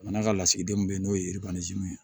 N'a ka lasigidenw bɛ yen n'o ye yiribanajiw ye